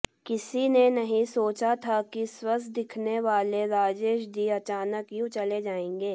किसी ने नहीं सोचा था कि स्वस्थ दिखने वाले राजेश जी अचानक यूँ चले जायेंगे